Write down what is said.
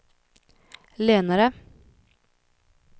lenare